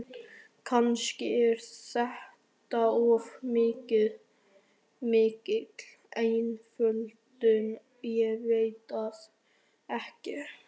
Kannski er þetta of mikil einföldun, ég veit það ekki.